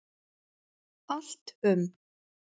Allt um